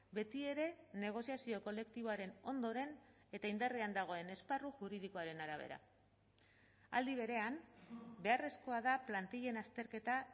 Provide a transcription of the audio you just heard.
betiere negoziazio kolektiboaren ondoren eta indarrean dagoen esparru juridikoaren arabera aldi berean beharrezkoa da plantillen azterketa